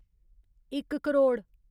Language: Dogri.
इक करोड़